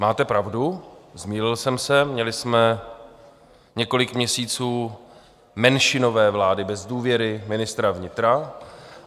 Máte pravdu, zmýlil jsem se, měli jsme několik měsíců menšinové vlády bez důvěry ministra vnitra.